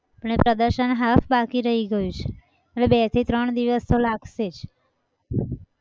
ને પ્રદર્શન half બાકી રહી ગયું છે એટલે બે થી ત્રણ દિવસ તો લાગશે જ.